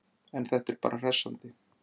En þetta var bara hressandi!